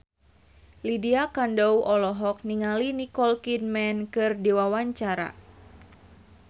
Lydia Kandou olohok ningali Nicole Kidman keur diwawancara